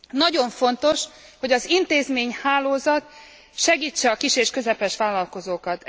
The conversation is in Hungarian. Nagyon fontos, hogy az intézményhálózat segítse a kis és közepes vállalkozókat.